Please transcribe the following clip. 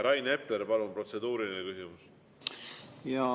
Rain Epler, palun, protseduuriline küsimus!